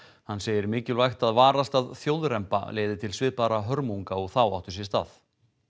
hann segir mikilvægt að varast að þjóðremba leiði til svipaðra hörmunga og þá áttu sér stað